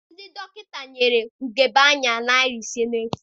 Ndị dọkịta nyere ugebe anya dị narị ise n'efu.